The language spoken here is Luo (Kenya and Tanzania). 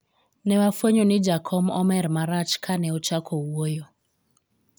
ne wafwenyo ni jakom omer marach kane ochako wuoyo